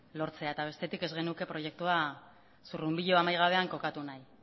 lortzea eta bestetik ez genuke proiektua zurrunbilo amaigabean kokatu nahi